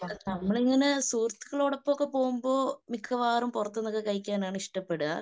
നമ്മളിങ്ങനെ സുഹൃത്തുക്കളോടൊപ്പമൊക്കെ പോകുമ്പോ മിക്കവാറും പുറത്തുനിന്നൊക്കെ കഴിക്കാനാണ് ഇഷ്ടപ്പെടുക.